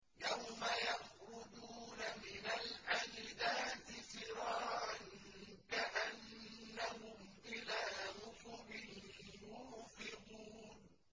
يَوْمَ يَخْرُجُونَ مِنَ الْأَجْدَاثِ سِرَاعًا كَأَنَّهُمْ إِلَىٰ نُصُبٍ يُوفِضُونَ